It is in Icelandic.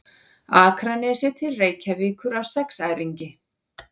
Akranesi til Reykjavíkur á sexæringi.